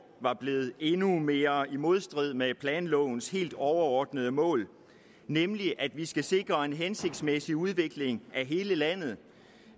var blevet endnu mere i modstrid med planlovens helt overordnede mål nemlig at vi skal sikre en hensigtsmæssig udvikling af hele landet at